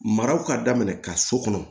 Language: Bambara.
Maraw ka daminɛ ka so kɔnɔ